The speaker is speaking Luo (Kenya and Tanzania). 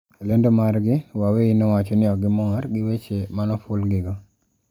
E lendo margi, Huawei nowacho ni "okgimor gi weche manofulgigo".